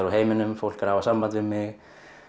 úr heiminum fólk er að hafa samband við mig